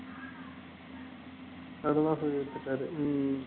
வித்துட்டாரு உம்